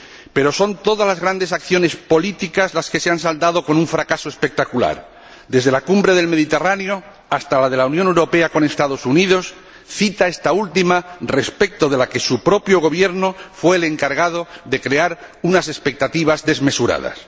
Pero son todas las grandes acciones políticas las que se han saldado con un fracaso espectacular desde la cumbre del Mediterráneo hasta la de la Unión Europea con los Estados Unidos, cita esta última respecto de la que su propio Gobierno fue el encargado de crear unas expectativas desmesuradas.